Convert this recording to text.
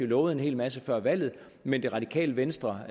lovede en hel masse før valget men det radikale venstre